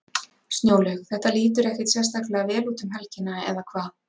Snjólaug, þetta lítur ekkert sérstaklega vel út um helgina, eða hvað?